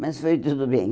Mas foi tudo bem.